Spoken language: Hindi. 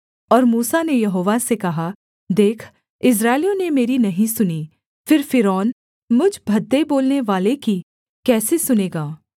और मूसा ने यहोवा से कहा देख इस्राएलियों ने मेरी नहीं सुनी फिर फ़िरौन मुझ भद्दे बोलनेवाले की कैसे सुनेगा